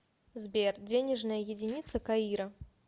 сбер денежная единица каира